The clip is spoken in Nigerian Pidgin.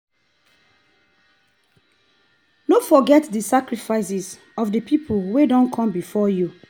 no forget di sacrifices of the pipo wey done come before you